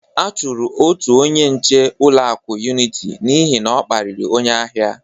A chọrọ otu onye nche ụlọaku Uniti n'ihi na ọ kparịrị onye ahia.